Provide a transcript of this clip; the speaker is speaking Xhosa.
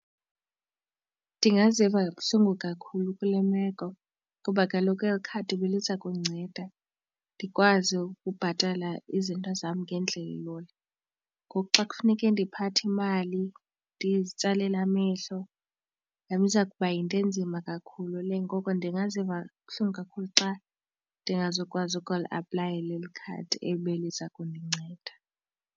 Ndingaziva kabuhlungu kakhulu kule meko kuba kaloku eli khadi beliza kundinceda ndikwazi ukubhatala izinto zam ngendlela elula. Ngoku xa kufuneke ndiphathe imali ndizitsalela amehlo iza kuba yinto enzima kakhulu le. Ngoko ndingaziva buhlungu kakhulu xa ndingazukwazi ukuliaplayela eli khadi ebeliza kundinceda.